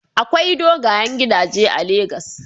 Akwai dogayen gidaje a Lagos.